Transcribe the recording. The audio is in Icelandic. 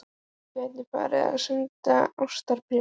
Þú gætir farið að senda ástarbréf.